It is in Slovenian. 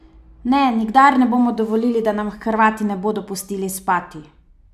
Ne, nikdar ne bomo dovolili, da nam Hrvati ne bodo pustili spati!